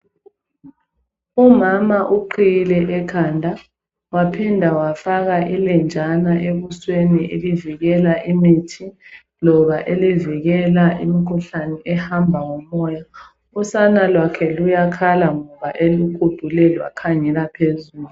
umama uqhiyile ekhanda waphinda wafaka ilenjana ebusweni elivikela imithi loba elivikela imkhuhlane ehamba ngo moya usana lwakhe luyakhala ngoba elukutule lwakhangela phezulu